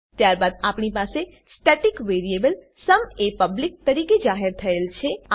ત્યારબાદ આપણી પાસે સ્ટેટિક વેરીએબલ સુમ એ પબ્લિક પબ્લિક તરીકે જાહેર થયેલ છે